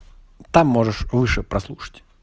там можешь выше послушать